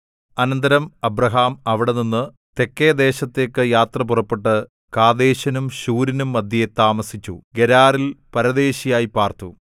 അനന്തരം അബ്രാഹാം അവിടെനിന്ന് തെക്കെ ദേശത്തേക്ക് യാത്ര പുറപ്പെട്ട് കാദേശിനും ശൂരിനും മദ്ധ്യേ താമസിച്ചു ഗെരാരിൽ പരദേശിയായി പാർത്തു